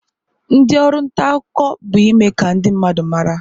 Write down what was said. Ndi oru nta akuko bu ime ka ndi mmadu mara.